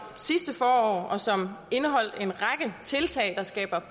sidste forår og som indeholdt en række tiltag der skaber